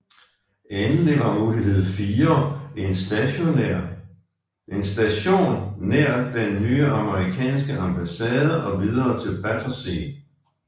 Endelig var mulighed 4 en station nær den nye amerikanske ambassade og videre til Battersea